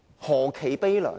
何其悲涼。